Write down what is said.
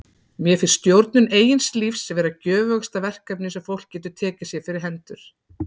Mér finnst stjórnun eigin lífs vera göfugasta verkefni sem fólk getur tekið sér fyrir hendur.